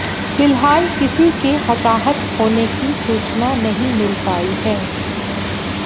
फिलहाल किसी के हताहत होने की सूचना नहीं मिल पाई है